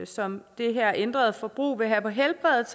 som det her ændrede forbrug vil have på helbredet